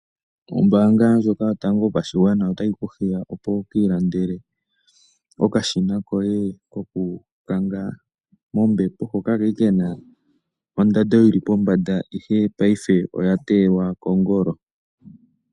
Ombaanga ndjoka yotango yopashigwana otayi ku hiya opo wu ki ilandele okashina koye kokukanga mombepo hoka kali kena ondando yili pombanda ihe paife oya teyelwa kongolo .